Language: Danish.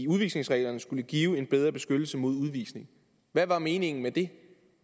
udvisningsreglerne skulle give en bedre beskyttelse mod udvisning hvad var meningen med det